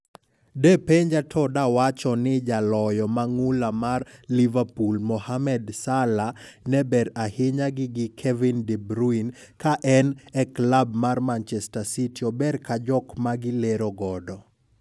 De penja to dawacho ni jaloyo mang'ula mar Liverpool Mohammed Salah ne ber ahinya gi gi Kevin De Bryune ka en e klab mar Manchester City ober ka jok magi lero godo.